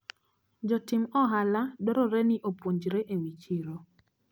Jotim ohala dwarore ni opuonjre ewi chiro.